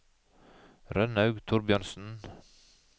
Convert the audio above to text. Rønnaug Thorbjørnsen